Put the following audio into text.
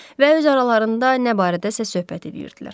Və öz aralarında nə barədəsə söhbət eləyirdilər.